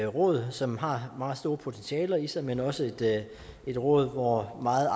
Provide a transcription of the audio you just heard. råd som har meget store potentialer i sig men også er et område hvor meget